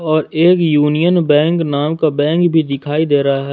और एक Union Bank नाम का बैंक भी दिखाई दे रहा है।